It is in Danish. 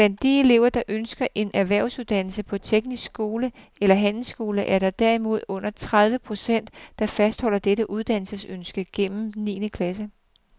Blandt de elever, der ønsker en erhvervsuddannelse på teknisk skole eller handelsskole, er der derimod under tredive procent, der fastholder dette uddannelsesønske gennem niende klasse.